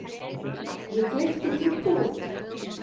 Ég gleypti tyggjóið.